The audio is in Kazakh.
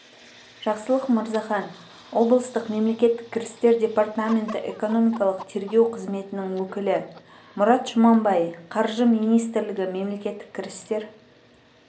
жақсылық мырзахан облыстық мемлекеттік кірістер департаменті экономикалық тергеу қызметінің өкілі мұрат жұманбай қаржы министрлігі мемлекеттік кірістер